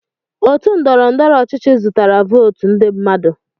Otu ndọrọ ndọrọ ọchịchị zụtara votu ndị mmadụ.